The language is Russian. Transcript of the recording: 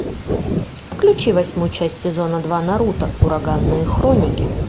включи восьмую часть сезона два наруто ураганные хроники